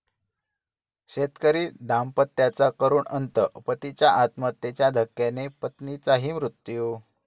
शेतकरी दाम्पत्याचा करुण अंत, पतीच्या आत्महत्येच्या धक्क्याने पत्नीचाही मृत्यू